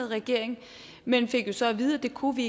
regering men fik jo så at vide at det kunne vi